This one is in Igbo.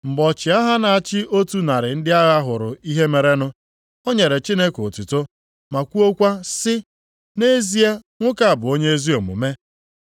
Mgbe ọchịagha na-achị otu narị ndị agha hụrụ ihe merenụ, o nyere Chineke otuto ma kwuokwa sị, “Nʼezie nwoke a bụ onye ezi omume.” + 23:47 Maọbụ, onye aka ya dị ọcha